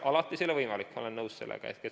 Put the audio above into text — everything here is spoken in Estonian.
Alati see ei ole võimalik, ma olen nõus.